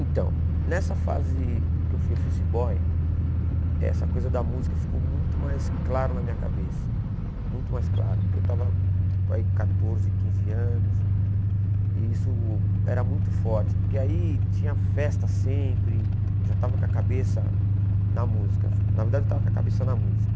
Então, nessa fase que eu fui office boy, essa coisa da música ficou muito mais clara na minha cabeça, muito mais clara, porque eu estava aí com quatorze, quinze anos, e isso era muito forte, porque aí tinha festa sempre, eu já estava com a cabeça na música, na verdade eu estava com a cabeça na música.